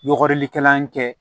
Yɔgɔrikɛla kɛ